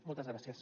moltes gràcies